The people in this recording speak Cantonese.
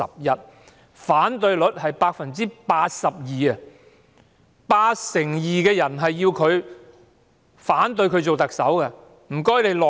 有 82% 受訪者反對她出任特首，請她下台。